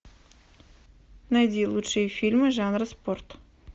найди лучшие фильмы жанра спорт